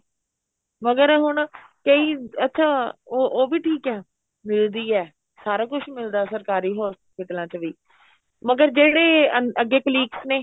ਮਗਰ ਹੁਣ ਕਈ ਅੱਛਾ ਉਹ ਉਹ ਵੀ ਠੀਕ ਏ ਮਿਲਦੀ ਏ ਸਾਰਾ ਕੁੱਝ ਮਿਲਦਾ ਸਰਕਾਰੀ ਹੋਸਪੀਟਲਾਂ ਚ ਵੀ ਮਗਰ ਜਿਹੜੇ ਅੱਗੇ colleagues ਨੇ